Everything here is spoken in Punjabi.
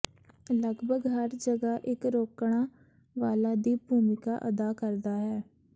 ਲਗਭਗ ਹਰ ਜਗ੍ਹਾ ਇੱਕ ਰੋਕਣਾ ਵਾਲਾ ਦੀ ਭੂਮਿਕਾ ਅਦਾ ਕਰਦਾ ਹੈ